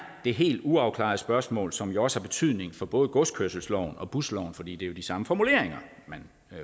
det helt uafklarede spørgsmål som jo også har betydning for både godskørselsloven og busloven fordi det er de samme formuleringer man